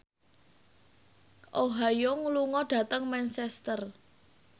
Oh Ha Young lunga dhateng Manchester